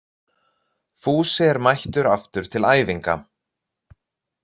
Fúsi er mættur aftur til æfinga